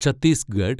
Chhattisgarh